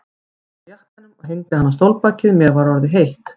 Ég fór úr jakkanum og hengdi hann á stólbakið, mér var orðið heitt.